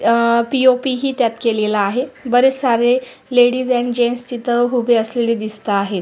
अ P O P ही त्यात केलेला आहे बरेच सारे लेडीज आणि जेन्टस सारे उभे असलेले दिसता आहेत.